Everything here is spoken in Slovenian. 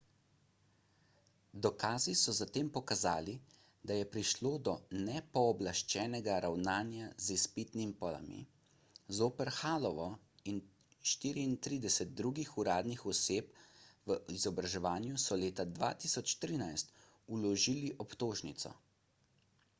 dokazi so zatem pokazali da je prišlo do nepooblaščenega ravnanja z izpitnimi polami zoper hallovo in 34 drugih uradnih oseb v izobraževanju so leta 2013 vložili obtožnico